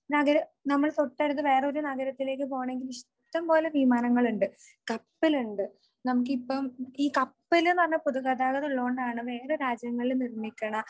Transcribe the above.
നഗര , നമ്മൾ തൊട്ടടുത്ത വേറെയൊരു നഗരത്തിലേക്ക് പോണെങ്കിൽ ഇഷ്ടംപോലെ വിമാനങ്ങളുണ്ട് കപ്പലുണ്ട്. നമുക്കിപ്പം ഈ കപ്പലെന്നു പറഞ്ഞ പൊതുഗതാഗതം ഉള്ളോണ്ടാണ് വേറെ രാജ്യങ്ങളിൽ നിക്കണ